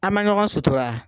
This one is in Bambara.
A ma ɲɔgɔn sutura